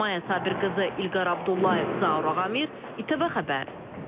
Maya Sabirqızı, İlqar Abdullayev, Zaur Ağamir, İTV Xəbər.